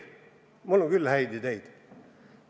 No minul on küll häid ideid.